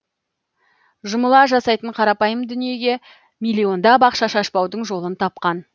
жұмыла жасайтын қарапайым дүниеге миллиондап ақша шашпаудың жолын тапқан